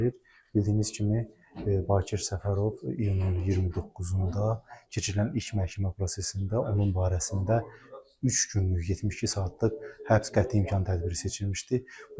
Bildiyiniz kimi, Bakir Səfərov iyunun 29-da keçirilən ilk məhkəmə prosesində onun barəsində üç günlük, 72 saatlıq həbs qəti imkan tədbiri seçilmişdi.